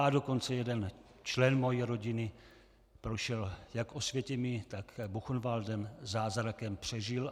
A dokonce jeden člen mé rodiny prošel jak Osvětimí, tak Buchenwaldem, zázrakem přežil.